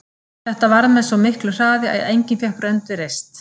Þetta varð með svo miklu hraði að enginn fékk rönd við reist.